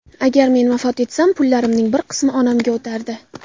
Agar men vafot etsam, pullarimning bir qismi onamga o‘tardi.